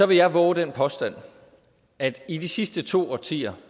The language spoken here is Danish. vil jeg vove den påstand at i de sidste to årtier